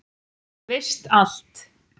Veist allt.